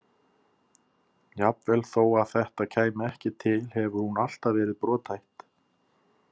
Jafnvel þó að þetta kæmi ekki til hefur hún alltaf verið brothætt.